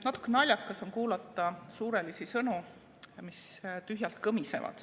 Natuke naljakas on kuulata suurelisi sõnu, mis tühjalt kõmisevad.